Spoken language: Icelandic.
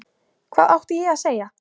Hvað átti ég að segja?